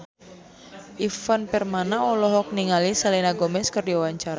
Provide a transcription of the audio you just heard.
Ivan Permana olohok ningali Selena Gomez keur diwawancara